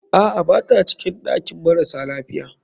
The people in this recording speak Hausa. Aa, bata cikin ɗakin marasa lafiya.